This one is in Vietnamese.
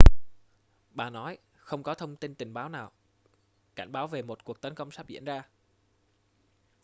bà nói không có thông tin tình báo nào cảnh báo về một cuộc tấn công sắp diễn ra